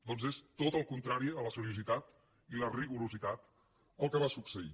doncs és tot el contrari a la seriositat i el rigor el que va succeir